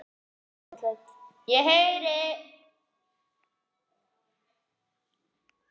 Svona var óréttlætið takmarkalaust.